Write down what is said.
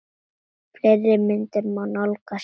Fleiri myndir má nálgast hér